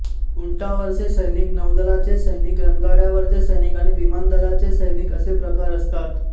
उंटावरचे सैनिक नौदलाचे सैनिक रणगाड्यावरचे सैनिक आणि विमानदलाचे सैनिक असे प्रकार असतात